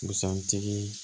Busan tigi